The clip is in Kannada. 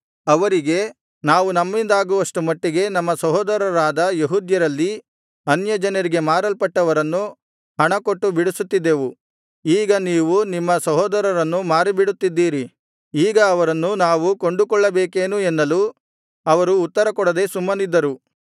ಅವರಿಗೆ ನಾವು ನಮ್ಮಿಂದಾಗುವಷ್ಟು ಮಟ್ಟಿಗೆ ನಮ್ಮ ಸಹೋದರರಾದ ಯೆಹೂದ್ಯರಲ್ಲಿ ಅನ್ಯಜನರಿಗೆ ಮಾರಲ್ಪಟ್ಟವರನ್ನು ಹಣ ಕೊಟ್ಟು ಬಿಡಿಸುತ್ತಿದ್ದೆವು ಈಗ ನೀವು ನಿಮ್ಮ ಸಹೋದರರನ್ನು ಮಾರಿಬಿಡುತ್ತಿದ್ದೀರಿ ಈಗ ಅವರನ್ನು ನಾವು ಕೊಂಡುಕೊಳ್ಳಬೇಕೇನು ಎನ್ನಲು ಅವರು ಉತ್ತರಕೊಡದೆ ಸುಮ್ಮನಿದ್ದರು